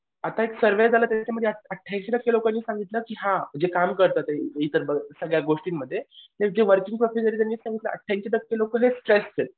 आता एक सर्वे झाला त्याच्यामध्ये ऐंशी टक्के लोकांनी सांगितलं की हां जे काम करतात ये इतर सगळ्या गोष्टींमध्ये ते वर्किंग प्रोसिजर आहे त्यांनी सांगितलं ऐंशी टक्के लोकं हे स्ट्रेस्ड आहेत.